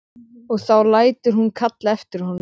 Og þá lætur hún kalla eftir honum.